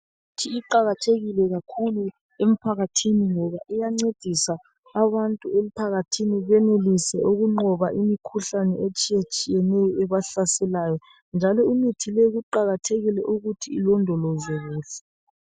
Imithi iqakathekile kakhulu emphakathini, ngoba iyancedisa abantu emphakathini, Benelise ukunqoba imikhuhlane etshiyetshiyeneyo, ebahlaselayo. Njalo imithi le, kuqakathekile ukuthi ilondolozwe kuhle.